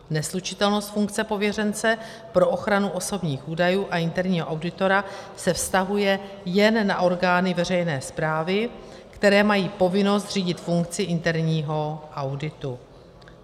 Neslučitelnost funkce pověřence pro ochranu osobních údajů a interního auditora se vztahuje jen na orgány veřejné správy, které mají povinnost zřídit funkci interního auditu.